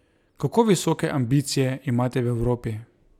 Kako visoke ambicije imate v Evropi?